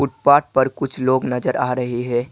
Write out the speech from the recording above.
Path पर कुछ लोग नजर आ रहे है।